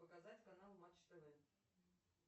показать канал матч тв